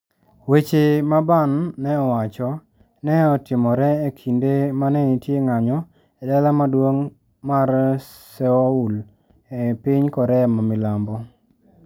Weche ma Ban ne owacho, ne otimore e kinde ma ne nitie ng'anyo e dala maduong ' mar Seoul, e piny Korea ma milambo.